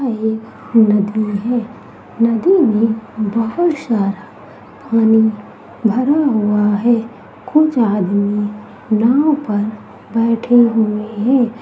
यह एक नदी है। नदी में बहुत सारा पानी भरा हुआ है। कुछ आदमी नाव पर बैठे हुए हैं।